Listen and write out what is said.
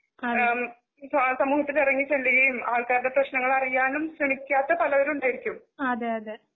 ആം സമൂഹത്തില് ഇറങ്ങിച്ചെല്ലുകയും ആൾക്കാരുടെ പ്രേശനങ്ങൾ അറിയാനും ശ്രെമിക്കാത്തപലരും ഉണ്ടായിരിക്കും.